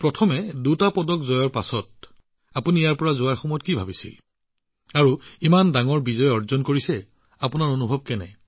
প্ৰথমে কওকচোন দুটা পদক লাভ কৰি ইয়ালৈ অহাৰ সময়ত আপুনি কি ভাবিছিল আৰু ইমান ডাঙৰ বিজয় সাব্যস্ত কৰি আপুনি কি অনুভৱ কৰিছে